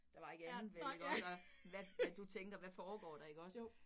Der var ikke andet vel iggå, der hvad hvad du tænker, hvad foregår der ikke også